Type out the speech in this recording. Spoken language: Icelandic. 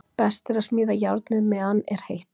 Best er að smíða járnið meðan er heitt.